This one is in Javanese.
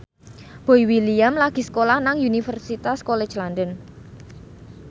Boy William lagi sekolah nang Universitas College London